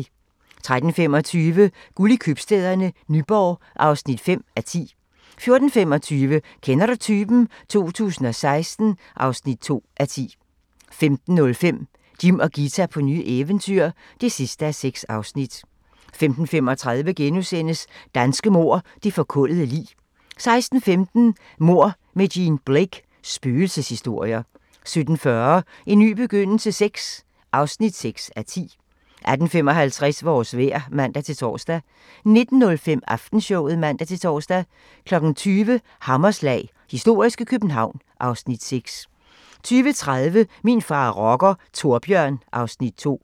13:25: Guld i købstæderne - Nyborg (5:10) 14:25: Kender du typen? 2016 (2:10) 15:05: Jim og Ghita på nye eventyr (6:6) 15:35: Danske mord - det forkullede lig * 16:15: Mord med Jean Blake: Spøgelseshistorier 17:40: En ny begyndelse VI (6:10) 18:55: Vores vejr (man-tor) 19:05: Aftenshowet (man-tor) 20:00: Hammerslag - historiske København (Afs. 6) 20:30: Min far er rocker – Thorbjørn (Afs. 2)